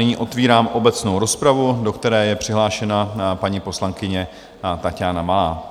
Nyní otevírám obecnou rozpravu, do které je přihlášena paní poslankyně Taťána Malá.